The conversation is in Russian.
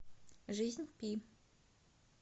жизнь пи